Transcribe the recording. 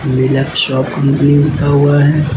मिलाप shop company लिखा हुआ है।